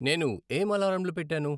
నేను ఏం అలారంలు పెట్టాను